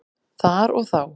Þar og þá.